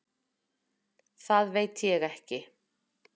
Það veit ég ekki.